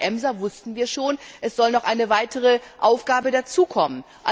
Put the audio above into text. Gerade bei der EMSA wussten wir schon, es soll noch eine weitere Aufgabe dazukommen.